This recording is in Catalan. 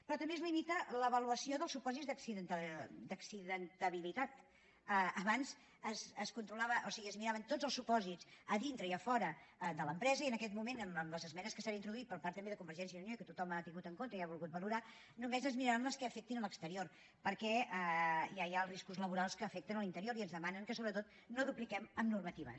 però també es limita l’avaluació dels supòsits d’accidentabilitat abans es controlaven o sigui es miraven tots els supòsits a dintre i a fora de l’empresa i en aquest moment amb les esmenes que s’hi han introduït per part també de convergència i unió i que tothom ha tingut en compte i ha volgut valorar només es miraran les que afectin l’exterior perquè ja hi ha els riscos laborals que afecten l’interior i ens demanen que sobretot no dupliquem normatives